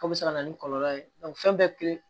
K'o bɛ se ka na ni kɔlɔlɔ ye fɛn bɛɛ kelen